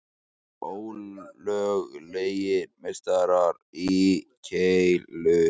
Ólöglegir meistarar í keilu